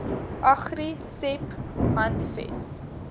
agri seb handves